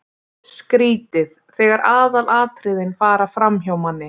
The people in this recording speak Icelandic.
Skrýtið þegar aðalatriðin fara framhjá manni!